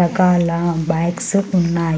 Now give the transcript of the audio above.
రకాల బైక్స్ ఉన్నాయ్.